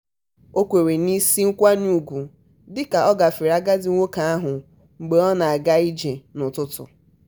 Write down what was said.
o kwere n'isi na nkwenye ugwu dị ka ọ gafere agadi nwoke ahụ mgbe ọ na-aga ije ụtụtụ.